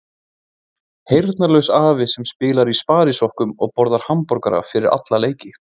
Heyrnarlaus afi sem spilar í sparisokkum og borðar hamborgara fyrir alla leiki.